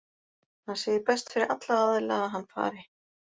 Hann segir best fyrir alla aðila að hann fari.